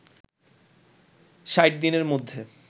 ৬০ দিনের মধ্যে